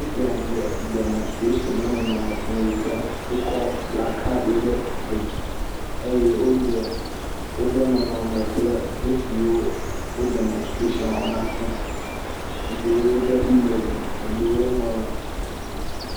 Esia ɖe demɔnsitretsiŋ ƒe nɔnɔme fia yi ke wokɔ plakaɖiwo ɖe dzi eye woɖe woƒe nɔnɔme kple nu siwo wo demɔnsitretsiŋ la wɔm na fia. Eɖewo be elevi, eɖewo ŋlɔ…